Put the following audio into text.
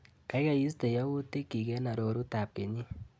Kaikai istee yautikchi eng arorutab kenyit.